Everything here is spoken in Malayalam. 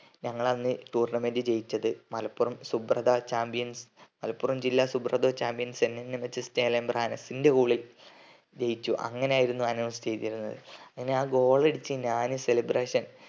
ഞങ്ങൾ അന്ന് tournament ജയിച്ചത് മലപ്പുറം സുബ്രത chambions മലപ്പുറം ജില്ലാ സുബ്രത chambionsNNMHS ചേലേമ്പ്ര എന്റെ goal ജയിചു അങ്ങനെ ആയിരുന്നു announce ചെയ്തതിരുന്നത് അങ്ങനെ ആ goal അടിച്ച ഞാന് celebration